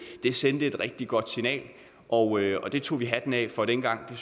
det sendte et rigtig godt signal og det tog vi hatten af for dengang og det